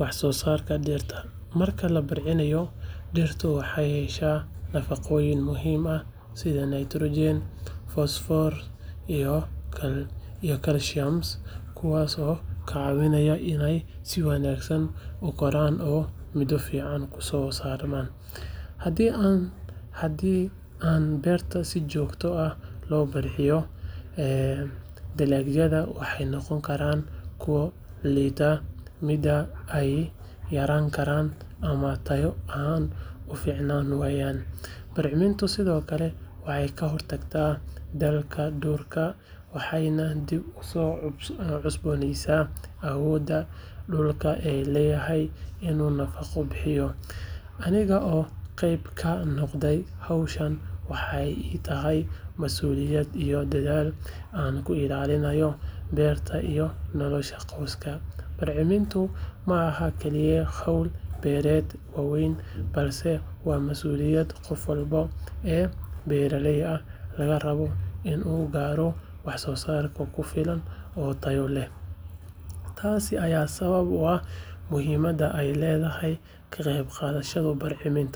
waxsoosaarka dhirta. Marka la bacrimiyo, dhirtu waxay heshaa nafaqooyin muhiim ah sida nitrogen, fosfoor iyo kaalshiyam kuwaas oo ka caawiya inay si wanaagsan u koraan oo midho fiican u soo saaraan. Haddii aan beerta si joogto ah loo bacrimiyo, dalagyada waxay noqon karaan kuwo liita, midhaha ayna yaraan karaan ama tayo ahaan u fiicnaan waayaan. Bacrimintu sidoo kale waxay ka hortagtaa daalka dhulka waxayna dib u cusboonaysiisaa awoodda dhulku u leeyahay inuu nafaqo bixiyo. Aniga oo qayb ka noqda hawshan waxay ii tahay masuuliyad iyo dadaal aan ku ilaalinayo beertayda iyo nolosha qoyska. Bacrimintu ma aha kaliya hawl beeraleyda waaweyn, balse waa masuuliyad qof walba oo beeraley ah laga rabo si loo gaaro waxsoosaar ku filan oo tayo leh. Taas ayaa sabab u ah muhiimadda ay leedahay ka qaybqaadashada bacriminta.